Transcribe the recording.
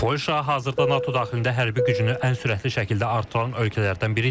Polşa hazırda NATO daxilində hərbi gücünü ən sürətli şəkildə artıran ölkələrdən biridir.